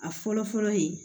A fɔlɔ fɔlɔ ye